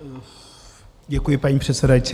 Děkuji, paní předsedající.